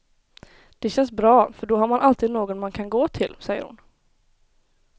Det känns bra för då har man alltid någon man kan gå till, säger hon.